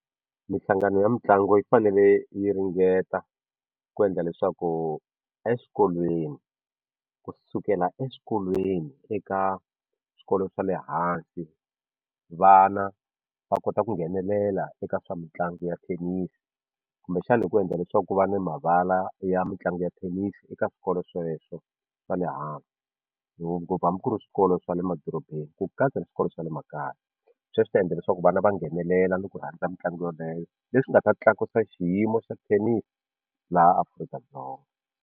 Mihlangano ya mitlangu yi fanele yi ringeta ku endla leswaku eswikolweni kusukela eswikolweni eka swikolo swa le hansi vana va kota ku nghenelela eka swa mitlangu ya thenisi kumbexana hi ku endla leswaku ku va ni mavala ya mitlangu ya thenisi eka swikolo sweswo swa le hansi ngopfu hambi ku ri swikolo swa le madorobeni ku katsa na swikolo swa le makaya swi ta endla leswaku vana va nghenelela ni ku rhandza mitlangu yeleyo leswi nga ta tlakusa xiyimo xa thenisi laha Afrika-Dzonga.